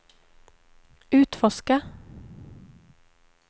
utforska